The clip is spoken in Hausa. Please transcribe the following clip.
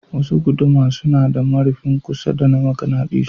Wasu guduma suna da marifin kusa na maganadisu.